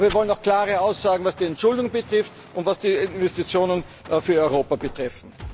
Aber wir wollen auch klare Aussagen, was die Entschuldung und was die Investitionen für Europa betrifft.